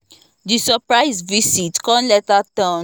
the surprise visit come later turn better bonding time for us